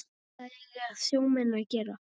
Hvað eiga sjómenn að gera?